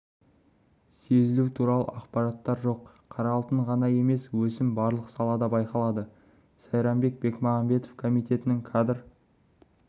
сезілу туралы ақпараттар жоқ қара алтын ғана емес өсім барлық салада байқалады сайранбек бекмағамбетов комитетінің кадр